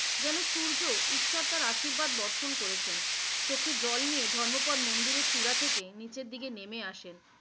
যেনো সূর্য ঈশ্বর তার আশীর্বাদ বর্ষণ করেছেন, চোখের জল নিয়ে ধর্মপদ মন্দিরের চূড়া থেকে নিচের দিকে নেমে আসেন।